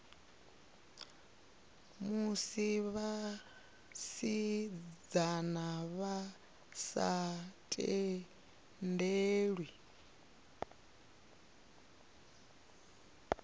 musi vhasidzana vha sa tendelwi